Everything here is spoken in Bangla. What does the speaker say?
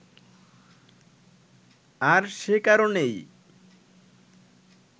আর সে কারণেই